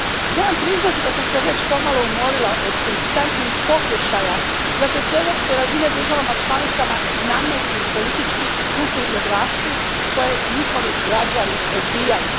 Moram priznati da sam se već pomalo umorila od konstantnih pokušaja da se s europske razine državama članicama nametnu politički i kulturni obrasci koje njihovi građani odbijaju.